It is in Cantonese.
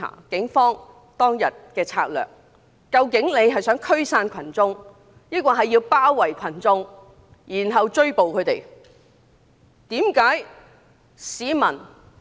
警方當日的策略，究竟是否想驅散群眾，還是包圍群眾，然後抓捕他們？